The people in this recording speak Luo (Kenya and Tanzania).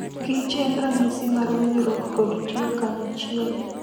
Kich enranyisi mar winjruok kod tiyo kanyachiel.